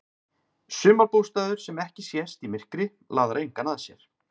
Sumarbústaður sem ekki sést í myrkri laðar engan að sér.